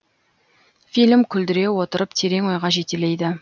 фильм күлдіре отырып терең ойға жетелейді